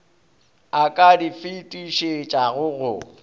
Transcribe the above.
a ka di fetišetšago go